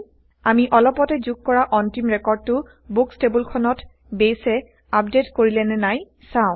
আমি অলপতে যোগ কৰা অন্তিম ৰেকৰ্ডটো বুকচ টেবোলখনত বেইছে160আপডেইট কৰিলেনে নাই চাও